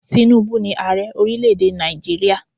Tínúbú ni Ààrẹ orílẹ̀ èdè Nàìjíríà.